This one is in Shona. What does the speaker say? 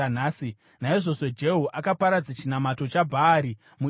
Naizvozvo Jehu akaparadza chinamato chaBhaari muIsraeri.